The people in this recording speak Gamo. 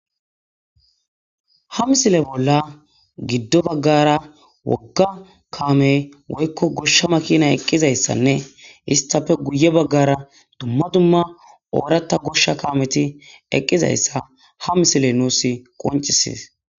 Ha missile bola gido bagara woga kame woyko gosha makinay eqizaysanne istape guye bagara duma duma oratha gosha kameti eqizaysa ha missile nus qonc'ises.